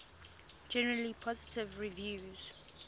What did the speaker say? generally positive reviews